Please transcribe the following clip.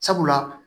Sabula